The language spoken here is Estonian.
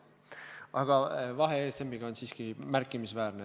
Aga vahe ESM-iga on siiski märkimisväärne.